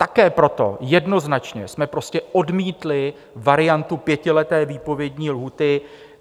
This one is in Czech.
Také proto jednoznačně jsme prostě odmítli variantu pětileté výpovědní lhůty.